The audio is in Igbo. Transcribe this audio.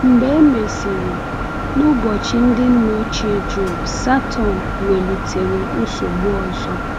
Mgbe e mesịrị, n’ụbọchị ndị nna ochie Jọb, Satọn welitere nsogbu ọzọ.